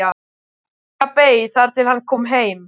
Inga beið þar til hann kom heim.